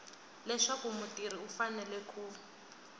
leswaku mutirhi u fanele ku